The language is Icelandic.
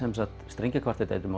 strengjakvartett eftir